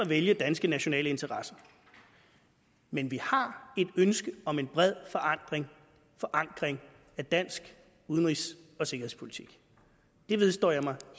vælge danske nationale interesser men vi har et ønske om en bred forankring forankring af dansk udenrigs og sikkerhedspolitik det vedstår jeg mig